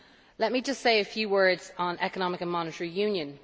Let me now say a few words on Economic and Monetary Union.